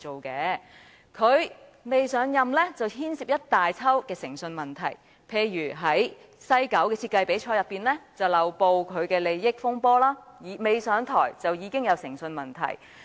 他尚未上任已牽涉一連串誠信問題，例如西九文化區設計比賽的漏報利益風波，還未上任已出現誠信問題。